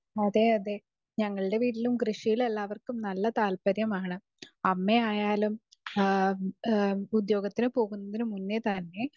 speaker 2 അതെ അതെ ഞങ്ങളുടെ വീട്ടിലും കൃഷിയിൽ എല്ലാവര്ക്കും നല്ല താല്പര്യാമാണ് അമ്മായാലും ഉത്യോകത്തിന് പോകുന്നതിന് മുന്നേ തന്നെ